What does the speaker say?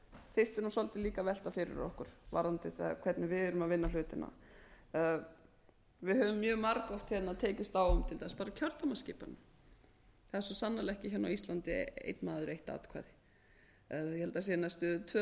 þyrftum svolítið líka að velta fyrir okkur varðandi það hvernig við erum að vinna hlutina við höfum margoft hérna tekist á um til dæmis bara kjördæmaskipanina það er svo sannarlega ekki hérna á íslandi einn maður eitt atkvæði ég